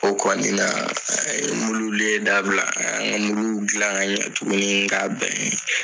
O kɔni na mululen dabila an y'an ka muluw dilan ka ɲɛ tuguni ka bɛn.